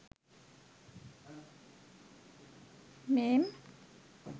meme